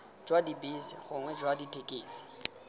jwa dibese gongwe jwa dithekisi